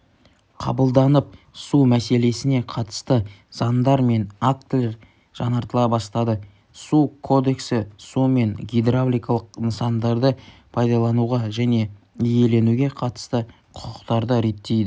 қабылданып су мәселесіне қатысты заңдар мен актілер жаңартыла бастады су кодексі су мен гидравликалық нысандарды пайдалануға және иеленуге қатысты құқықтарды реттейді